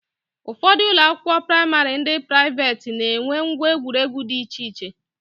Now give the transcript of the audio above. Ụfọdụ ụlọakwụkwọ praịmarị ndị praiveeti na-enwe ngwa egwuregwu di iche iche